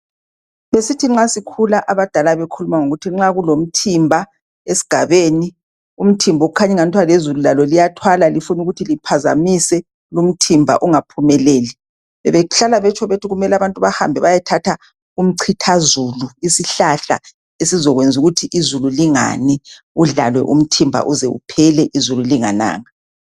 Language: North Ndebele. Besithi nxa sikhula abadala bekhuluma ngokuthi nxa kulomthimba esigabeni umthimba okukhanya engathwa lezulu lalo liyathwala lifuna ukuthi liphazamise lumthimba ungaphumeleli bebehlala betsho bethi kumele abantu bahambe bayethatha umchithazulu isihlahla esizakwenza ukuthi izulu lingani kudlalwe umthimba uze uphele izulu lingananga.